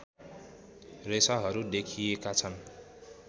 रेसाहरू देखिएका छन्